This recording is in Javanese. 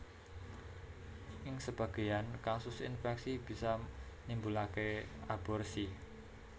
Ing sebagéyan kasus infèksi bisa nimbulaké aborsi